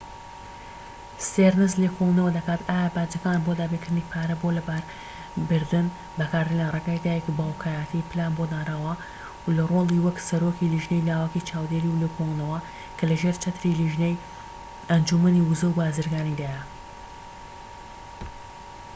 ستێرنس لێکۆڵینەوە دەکات ئایا باجەکان بۆ دابینکردنی پارە بۆ لەباربردن بەکاردێن لە ڕێگەی دایک/باوکایەتی پلان بۆ دانراو لە ڕۆلی وەک سەرۆکی لێژنەی لاوەکی چاودێری و لێکۆڵینەوە، کە لە ژێر چەتری لێژنەی ئەنجومەنی ووزە و بازرگانیدایە